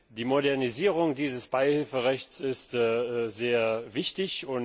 Die Modernisierung dieses Beihilferechts ist sehr wichtig.